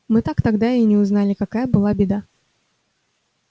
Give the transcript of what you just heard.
мы тогда так и не узнали какая была беда